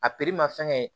A ma fɛn kɛ